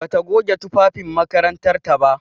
Bata goge tufafin makarantar ta ba.